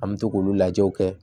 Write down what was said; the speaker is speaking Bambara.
An bɛ to k'olu lajɛw kɛ